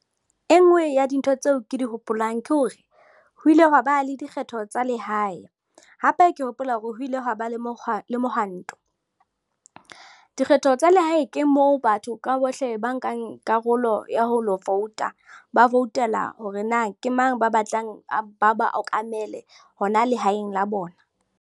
E nngwe ya dintho tseo ke di hopolang ke hore ho ile haba le dikgetho tsa lehae, hape ke hopola hore ho ile hwa ba le mohwanto. Dikgetho tsa lehae ke moo batho ka bohle ba nkang karolo ya ho lo vouta ba voutela hore na ke mang ba batlang ba ba okamele hona lehaeng la bona.